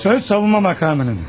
Söz savunma makamının.